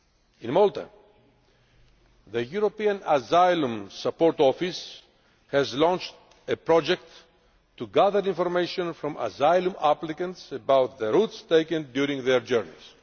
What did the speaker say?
In Malta, the European Asylum Support Office has launched a project to gather information from asylum applicants about the routes taken during their journeys.